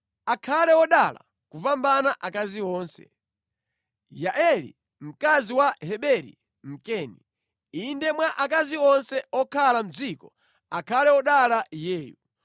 “Akhale wodala kupambana akazi onse, Yaeli mkazi wa Heberi Mkeni; inde mwa akazi onse okhala mʼdziko, akhale wodala iyeyu.